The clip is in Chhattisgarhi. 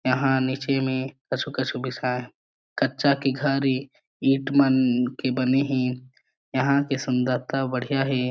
यहाँ नीचे में कछु-कछु बिसाय कच्चा के घर ए ईट मन के बने हे यहाँ की सुंदरता बढ़ियाँ हे।